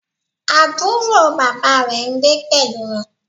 Àbúrò bàbá rẹ̀ n gbé pẹ̀lú wọn